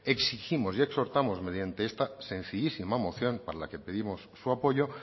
exigimos y exhortamos mediante esta sencillísima moción para que pedimos su apoyo